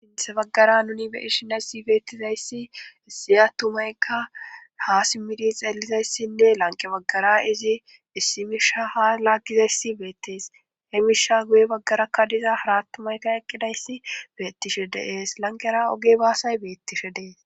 Sinthe baggara nuni be ishinayssi beettizayssi issi yattumaykka ha simmidi xeellizayssinne lanke baggara izi issimisha ha laagizayssi beettees he miisha guye baggarakka diza haratumayka eqqidayssi beettishe dees lanqera oge baasay beettishe dees.